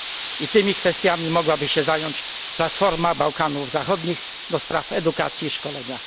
I tymi kwestiami mogłaby się zająć Platforma Bałkanów Zachodnich do spraw Edukacji i Szkolenia.